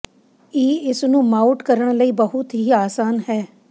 ਈ ਇਸ ਨੂੰ ਮਾਊਟ ਕਰਨ ਲਈ ਬਹੁਤ ਹੀ ਆਸਾਨ ਹੈ